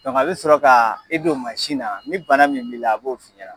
a be sɔrɔ ka e don na , ni bana min b'i la , a b'o f'i ɲɛna.